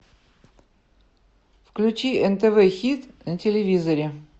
включи нтв хит на телевизоре